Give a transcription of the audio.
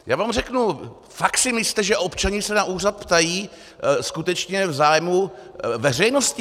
Já vám řeknu - fakt si myslíte, že občané se na úřad ptají skutečně v zájmu veřejnosti?